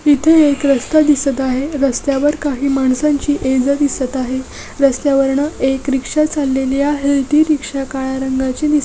एक रस्ता दिसत आहे रस्त्यावर काही माणसांची ये जा दिसत आहे रस्त्यावरन एक रिक्षा चाललेली आहे ती रिक्षा काळ्या रंगाची दिसत आहे.